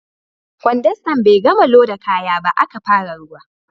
Kwandastan bai gama loda kaya ba, aka fara ruwa